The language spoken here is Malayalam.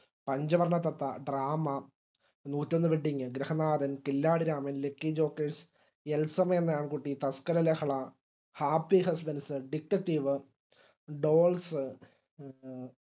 പഞ്ചവർണ്ണ തത്ത drama നൂറ്റൊന്നു wedding Grihanathan Killadiraman lucky jockers Elsamma Enna Aankutty Thaskaralahala happy husbandsdetectivedolls